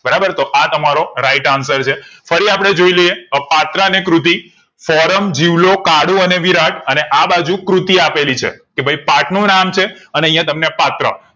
બરાબર તો તમારો right answer છે ફરી અપડે જોઇ લઈએ પાત્ર અને કૃતિ ફોરમ જીવલો કાળુ અને વિરાટ અને આ બાજુ કૃતિ આપેલી છે કે ભઈ પાઠ નું નામ છે અને અહીંયા તમને પાત્ર